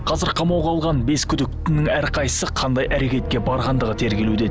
қазір қамауға алған бес күдіктінің әрқайсысы қандай әрекетке барғандығы тергелуде